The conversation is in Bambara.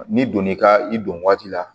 N'i donn'i ka i don waati la